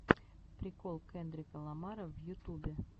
прикол кендрика ламара в ютубе